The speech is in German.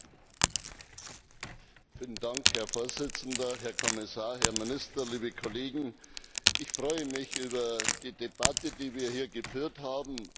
Herr Präsident, Herr Kommissar, Herr Minister, liebe Kollegen! Ich freue mich über die Debatte, die wir hier geführt haben.